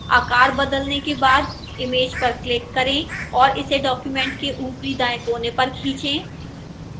आकार बदलने के बाद image पर click करें और इसे document के ऊपरी दाएं कोने पर खींचें